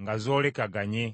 nga zoolekaganye.